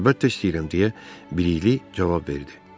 "Əlbəttə istəyirəm," deyə Bilikli cavab verdi.